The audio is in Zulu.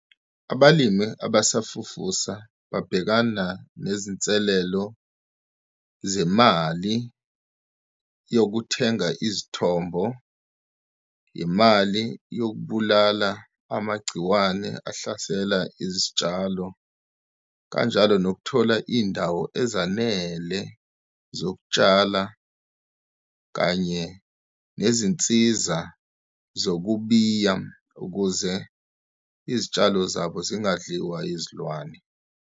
Abalimi abasafufusa babhekana nezinselelo zemali yokuthenga izithombo, imali yokubulala amagciwane ahlasela izitshalo, kanjalo nokuthola iy'ndawo ezanele zokutshala, kanye nezinsiza zokubiya ukuze izitshalo zabo zingadliwa yizilwane.